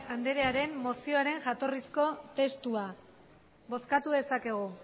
anderearen mozioaren jatorrizko testua bozkatu dezakegu